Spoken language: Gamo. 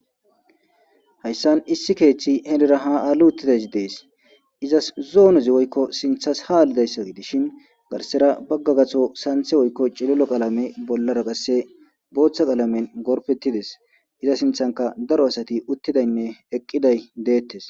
Hayssan issi keeththi henira haa aali uttidayssi izas zoonoz woykko sinththaz haa halidayssa gidishin garssera bagga gaththo sanththe woykko cililo qalamen bollara qasse booththa qalamen gorfetides. Iza sinththankka daro asati uttidaynne eqqiday deettes.